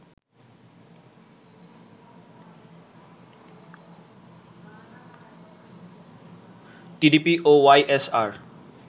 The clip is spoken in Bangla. টিডিপি ও ওয়াইএসআর